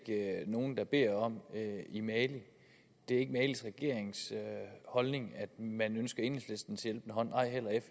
nogen der beder om i mali det er ikke malis regerings holdning at man ønsker enhedslistens hjælpende hånd og